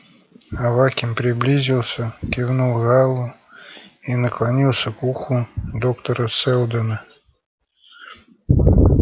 аваким приблизился кивнул гаалу и наклонился к уху доктора сэлдона